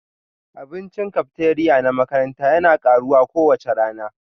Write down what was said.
Abincin cafeteria na makaranta yana karuwa kowace rana